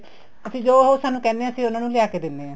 ਅਸੀਂ ਜੋ ਉਹ ਸਾਨੂੰ ਕਹਿਣੇ ਆ ਅਸੀਂ ਉਹਨਾ ਨੂੰ ਲਿਆ ਕੇ ਦਿੰਨੇ ਹਾਂ